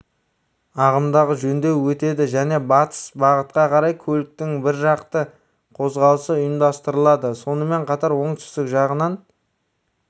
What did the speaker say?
ағымдағы жөндеуден өтеді және бастыс бағытқа қарай көліктің біржақты қозғалысы ұйымдастырылады сонымен қатар оңтүстік жағынан